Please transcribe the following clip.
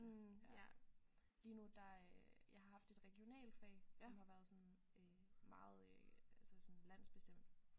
Mh ja lige nu der øh jeg har haft et regionalfag som har været sådan øh meget øh sådan landsbestemt